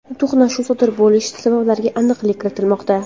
to‘qnashuv sodir bo‘lish sabablariga aniqlik kiritilmoqda.